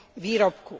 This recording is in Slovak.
výrobku.